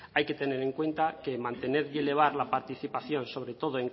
hay que tener en cuenta que mantener y elevar la participación sobre todo